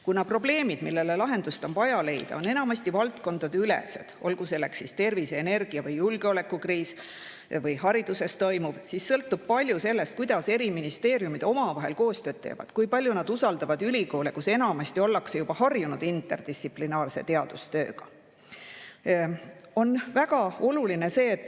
Kuna probleemid, millele on vaja lahendust leida, on enamasti valdkondadeülesed, olgu selleks siis tervise-, energia- või julgeolekukriis või hariduses toimuv, siis sõltub palju sellest, kuidas erinevad ministeeriumid omavahel koostööd teevad ja kui palju nad usaldavad ülikoole, kus enamasti ollakse interdistsiplinaarse teadustööga juba harjunud.